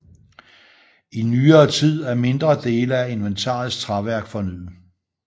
I nyere tid er mindre dele af inventarets træværk fornyet